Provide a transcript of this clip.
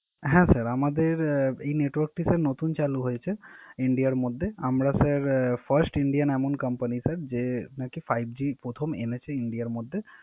হ্যা স্যার আমাদের এই নেটওয়ার্কটি স্যার নতুন চালু হয়েছে ইন্ডিয়ার মধ্যে। আমরা স্যার ফয়েস্ট ইন্ডিয়ান এমন কোম্পানি স্যার যে নাকি Five G প্রথম এনেছে ইন্ডিয়ার মধ্যে।